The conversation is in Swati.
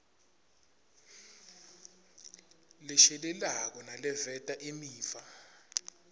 leshelelako naleveta imiva